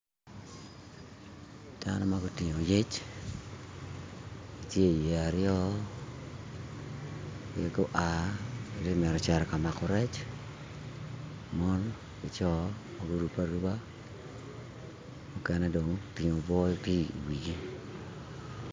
Dano ma gutingo yec tye i yeya aryo gua giti mito cito ka mako rec mon ki co ma gurobe aruba mukene dong otingo obwo tye i wigi